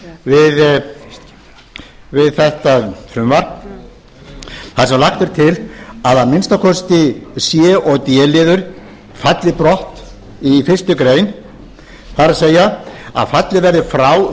frumvarp þar sem lagt er til að að minnsta kosti c og d liður í fyrstu grein falli brott það er að fallið verði frá